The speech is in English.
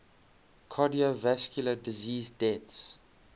cardiovascular disease deaths